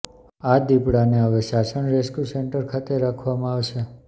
આ દિપડાને હવે સાસણ રેસ્ક્યુ સેન્ટર ખાતે રાખવામાં આવશે